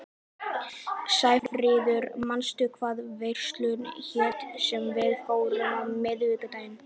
Sæfríður, manstu hvað verslunin hét sem við fórum í á miðvikudaginn?